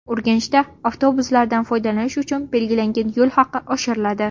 Urganchda avtobuslardan foydalanish uchun belgilangan yo‘l haqi oshiriladi.